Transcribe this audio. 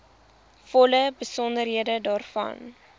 volle besonderhede daarvan